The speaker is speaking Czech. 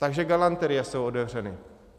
Takže galanterie jsou otevřeny.